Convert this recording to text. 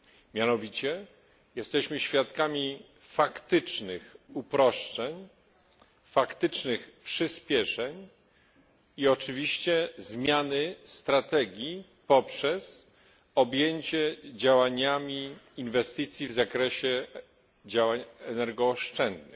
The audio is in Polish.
Mianowicie jesteśmy świadkami faktycznych uproszczeń, faktycznych przyspieszeń i oczywiście zmiany strategii poprzez objęcie działaniami inwestycji w zakresie działań energooszczędnych.